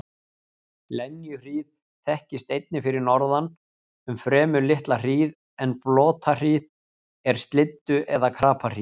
Lenjuhríð þekkist einnig fyrir norðan um fremur litla hríð en blotahríð er slyddu- eða krapahríð.